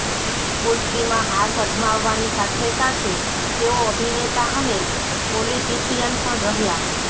કુસ્તીમાં હાથ અજમાવાની સાથેસાથે તેઓ અભિનેતા અને પોલિટિશિયન પણ રહ્યા